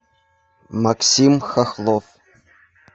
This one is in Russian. максим хохлов